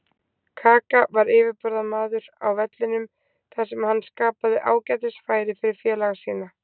Kaka var yfirburðamaður á vellinum þar sem hann skapaði ágætis færi fyrir félaga sína.